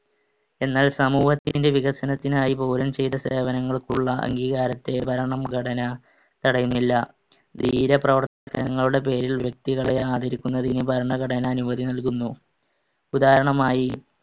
എന്നാൽ സമൂഹത്തിന്‍റെ വികസനത്തിനായി പൗരൻ ചെയ്‌ത സേവനങ്ങൾക്കുള്ള അംഗീകാരത്തെ ഭരണഘടന തടയുന്നില്ല. ധീരപ്രവർത്തനങ്ങളുടെ പേരിൽ വ്യക്തികളെ ആദരിക്കുന്നതിന് ഭരണഘടന അനുമതി നൽകുന്നു. ഉദാഹരണമായി